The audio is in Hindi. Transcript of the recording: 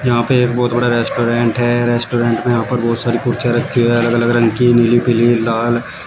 यहाँ पे एक बहोत बड़ा रेस्टोरेंट है रेस्टोरेंट में यहाँ पर बहोत सारी कुर्सियाँ रखी हुई हैं अलग-अलग रंग की नीली पीली लाल --